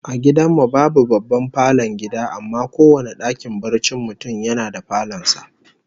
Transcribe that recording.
A gidan mu babu babban falon gida, amma kowane dakin barcin mutum yana da falon sa